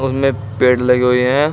उसमें पेड़ लगे हुए हैं।